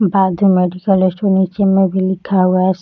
बाजु medical store नीचे मे भी लिखा हुआ है।